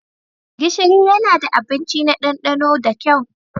Gishiri yana da abinci na ɗandano da kyau.